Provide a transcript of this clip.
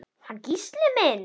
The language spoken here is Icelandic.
Hann Gísli minn?